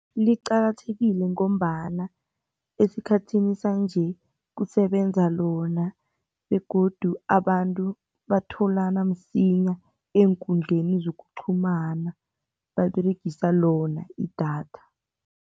Liqakathekile ngombana esikhathini sanje kusebenza lona begodu abantu batholana msinya eenkundleni zokuqhumana, baberegisa lona idatha.